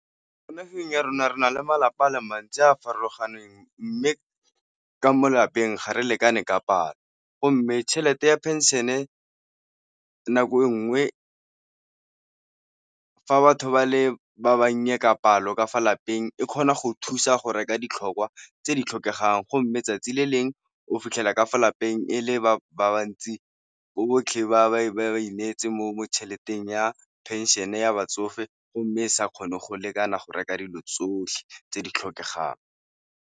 Mo nageng ya rona re na le malapa a le mantsi a a farologaneng, mme ka mo lapeng ga re lekane ka palo go mme tšhelete ya phenšene nako e nngwe batho fa batho ba le ba ba nnye ka palo ka fa lapeng e kgona go thusa go reka ditlhokwa tse di tlhokegang, go mme letsatsi le leng o fitlhela ka fa lapeng e le ba ba ntsi botlhe ba bangwe ba e neetse mo tšheleteng ya phenšene ya batsofe, go mme e sa kgone go lekana go reka dilo tsotlhe tse di tlhokegang.